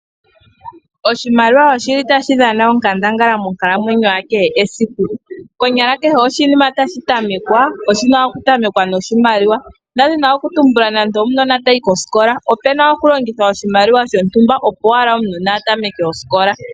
Oshimaliwa oshili tashi dhana onkandangala monkalamwenyo yakehe esiku, konyala kehe oshinima tashi tamekwa oshina okutamweka noshimaliwa, ndadhina okutumbula nando omunona tayi kosikola, opena okulongithwa oshimaliwa shontumba opo wala omunona atameke osikola.